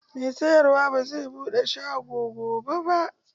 Mai sayarwa bai zai buɗe shago gobe ba.